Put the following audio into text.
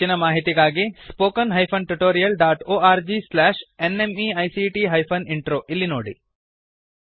ಹೆಚ್ಚಿನ ಮಾಹಿತಿಗಾಗಿ spoken hyphen tutorial dot org slash NMEICT hyphen intro ಇಲ್ಲಿ ನೋಡಿ